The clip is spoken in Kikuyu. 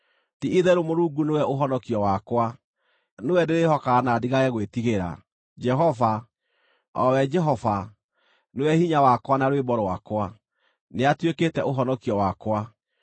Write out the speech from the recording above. Ti-itherũ Mũrungu nĩwe ũhonokio wakwa; nĩwe ndĩrĩĩhokaga na ndigage gwĩtigĩra. Jehova, o we Jehova, nĩwe hinya wakwa na rwĩmbo rwakwa; nĩatuĩkĩte ũhonokio wakwa.”